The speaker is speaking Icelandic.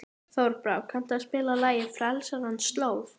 Þorbrá, kanntu að spila lagið „Frelsarans slóð“?